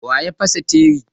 Waya fasa tire?